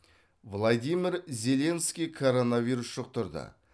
владимир зеленский коронавирус жұқтырды